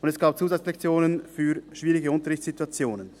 Zudem gab es Zusatzlektionen für schwierige Unterrichtssituationen.